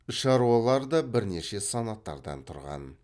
шаруалар да бірнеше санаттардан тұрған